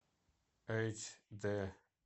эйч дэ